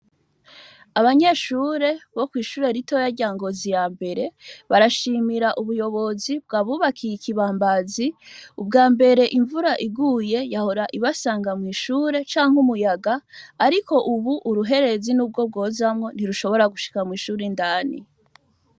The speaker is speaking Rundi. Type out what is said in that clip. Abanyeshure bo kw'ishure ritoya rya Ngozi ya mbere, barashimira ubuyobozi bwabubakiye ikibambazi. Ubwambere imvura iguye yahora ibasanga mw'ishure, canke umuyaga. Ariko ubu uruherezi n'ubwo rwozamwo ntirushobora gushika mwishure indani.